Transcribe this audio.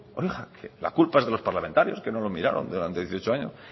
oiga la culpa es de los parlamentarios que no lo miraron durante dieciocho años